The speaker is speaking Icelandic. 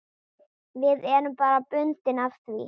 Við erum bundin af því.